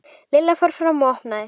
Lilla fór fram og opnaði.